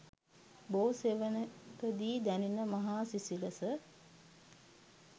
බෝ සෙවණකදී දැනෙන මහා සිසිලස